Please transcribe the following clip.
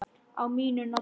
Á mínu nafni?